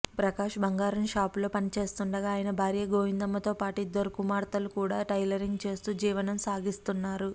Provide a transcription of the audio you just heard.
ప్రకాష్ బంగారం షాపులో పని చేస్తుండగా ఆయన భార్య గోవిందమ్మతోపాటు ఇద్దరు కుమార్తులు కూడా టైలరింగ్ చేస్తూ జీవనం సాగిస్తున్నారు